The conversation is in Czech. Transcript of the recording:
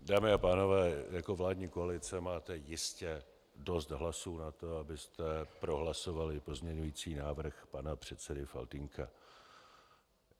Dámy a pánové, jako vládní koalice máte jistě dost hlasů na to, abyste prohlasovali pozměňující návrh pana předsedy Faltýnka.